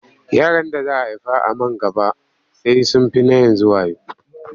Yaran da za a haifa man gaba sai sun fi na yanzu wayo.